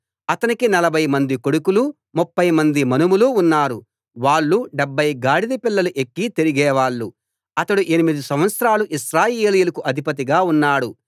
అతనికి నలభైమంది కొడుకులు ముప్ఫై మంది మనుమలు ఉన్నారు వాళ్ళు డెబ్భై గాడిదపిల్లలు ఎక్కి తిరిగేవాళ్ళు అతడు ఎనిమిది సంవత్సరాలు ఇశ్రాయేలీయులకు అధిపతిగా ఉన్నాడు